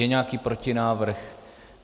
Je nějaký protinávrh?